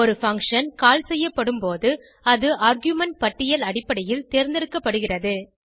ஒரு function call செய்யப்படும் போது அது ஆர்குமென்ட் பட்டியல் அடிப்படையில் தேர்ந்தெடுக்கப்படுகிறது